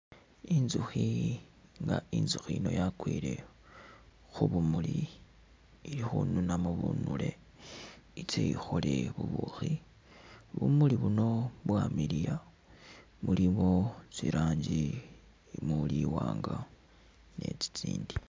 Inzukhi nga inzukhi yino yakwile khubumuli ikhununamo bunuli itse ikhole bubukhi ,bumuli buno bwamiliya mulimo tsiranji muli iwanga ni tsitsindi.